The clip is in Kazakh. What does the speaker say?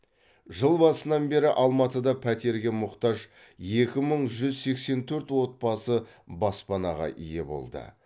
жыл басынан бері алматыда пәтерге мұқтаж екі мың жүз сексен төрт отбасы баспанаға ие болды